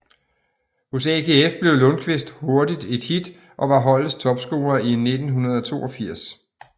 Hos AGF blev Lundkvist hurtigt et hit og var holdets topscorer i 1982